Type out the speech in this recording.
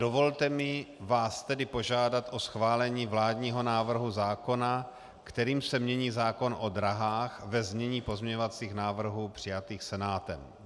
Dovolte mi vás tedy požádat o schválení vládního návrhu zákona, kterým se mění zákon o dráhách, ve znění pozměňovacích návrhů přijatých Senátem.